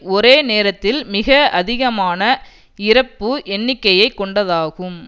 ஒரே நேரத்தில் மிக அதிகமான இறப்பு எண்ணிக்கையை கொண்டதாகும்